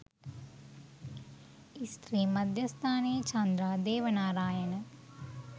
ස්ත්‍රී මධ්‍යස්ථානයේ චන්ද්‍රා දේවනාරායන